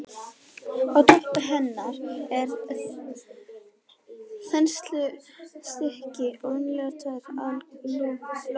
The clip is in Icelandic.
Á toppi hennar er þenslustykki og venjulega tveir aðallokar.